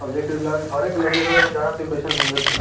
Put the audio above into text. अ जेकरे लगे घरे के लगे ह उ जानत होई की कईसन मिलत होई।